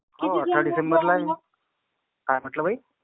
हो, अठरा डिसेंबरला आहे. काय म्हंटला बाई?